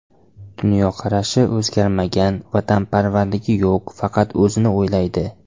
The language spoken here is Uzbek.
Dunyoqarashi o‘zgarmagan, vatanparvarligi yo‘q, faqat o‘zini o‘ylaydi.